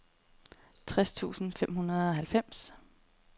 tres tusind og femoghalvfems